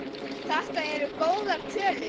Þetta eru góðar tölur.